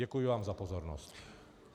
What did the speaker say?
Děkuji vám za pozornost.